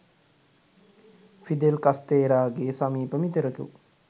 Fidel කස්තේ‍රාගේ සමීප මිතුරකු